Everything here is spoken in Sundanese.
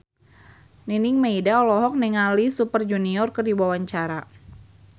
Nining Meida olohok ningali Super Junior keur diwawancara